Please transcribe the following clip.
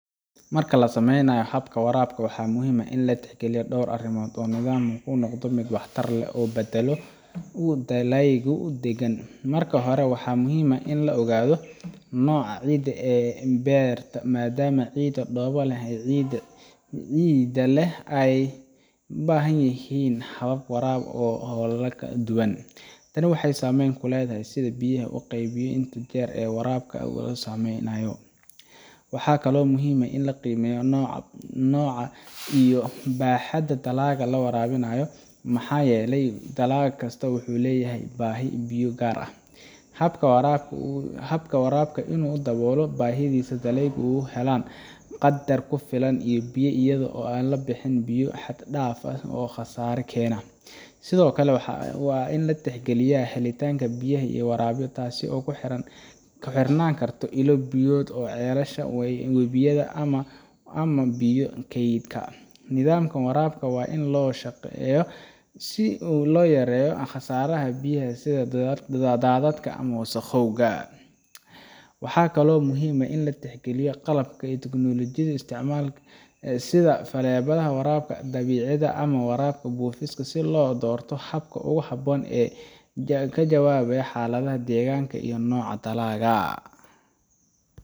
Marka la samaynayo habka waraabka, waxaa muhiim ah in la tixgeliyo dhowr arrimood si nidaamku u noqdo mid waxtar leh oo badbaado u ah dalagyada iyo deegaanka. Marka hore, waxaa muhiim ah in la ogaado nooca ciidda ee beerta, maadaama ciidda dhoobo leh iyo ciidda ciidda leh ay u baahan yihiin habab waraab oo kala duwan. Tani waxay saameyn ku leedahay sida biyaha loo qaybiyo iyo inta jeer ee waraabka la sameynayo. Waxaa kaloo muhiim ah in la qiimeeyo nooca iyo baaxadda dalagga la waraabayo, maxaa yeelay dalag kasta wuxuu leeyahay baahi biyo oo gaar ah. Habka waraabka waa in uu daboolaa baahidaas si dalagyadu u helaan qadar ku filan oo biyo ah iyadoo aan la bixin biyo xad dhaaf ah oo khasaare keena. Sidoo kale, waa in la tixgeliyo helitaanka biyaha laga waraabayo, taas oo ku xirnaan karta ilo biyoodka sida ceelasha, webiyada ama biyo kaydka. Nidaamka waraabka waa in loo qorsheeyaa si uu u yareeyo khasaaraha biyaha sida daadadka ama wasakhowga. Waxaa kaloo muhiim ah in la tixgeliyo qalabka iyo tiknoolajiyada la isticmaalayo, sida faleebaha, waraabka dhibcaha, ama waraabka buufiska, si loo doorto habka ugu habboon ee ka jawaabaya xaaladaha deegaanka iyo nooca dalagga.